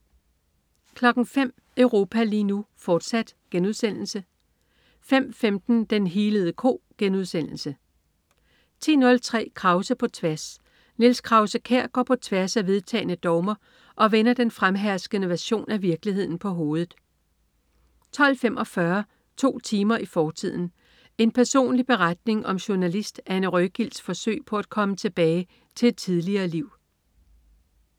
05.00 Europa lige nu, fortsat* 05.15 Den healede ko* 10.03 Krause på tværs. Niels Krause-Kjær går på tværs af vedtagne dogmer og vender den fremherskende version af virkeligheden på hovedet 12.45 To timer i fortiden. En personlig beretning om journalist Anne Røgilds' forsøg på at komme tilbage til et tidligere liv